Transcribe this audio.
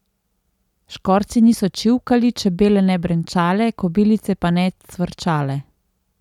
Škorci niso čivkali, čebele ne brenčale, kobilice pa ne cvrčale.